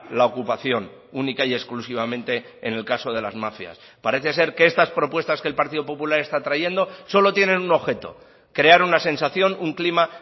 la ocupación única y exclusivamente en el caso de las mafias parece ser que estas propuestas que el partido popular está trayendo solo tienen un objeto crear una sensación un clima